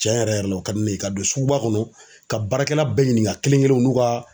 Cɛn yɛrɛ yɛrɛ la o ka di ne ye ka don suguba kɔnɔ ka baarakɛla bɛɛ ɲininka kelen kelen n'u ka.